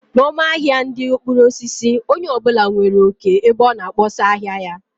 N' ọma ahia ndị mkpụrụ osisi, onye ọ bụla nwere oké ebe ọ na kpọsaa ahịa ya